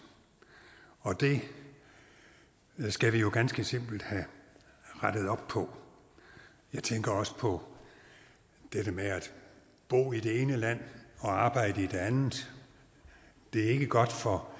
og det skal vi jo ganske simpelt have rettet op på jeg tænker også på dette med at bo i det ene land og arbejde i det andet det er ikke godt for